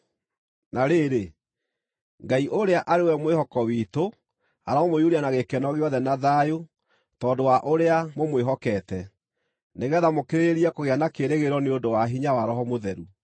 Na rĩrĩ, Ngai ũrĩa arĩ we mwĩhoko witũ aromũiyũria na gĩkeno gĩothe na thayũ tondũ wa ũrĩa mũmwĩhokete, nĩgeetha mũkĩrĩrĩrie kũgĩa na kĩĩrĩgĩrĩro nĩ ũndũ wa hinya wa Roho Mũtheru.